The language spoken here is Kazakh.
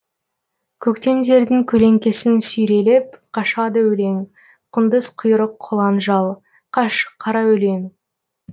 көктемдердің көлеңкесін сүйрелеп қашады өлең құндыз құйрық құлан жал қаш қара өлең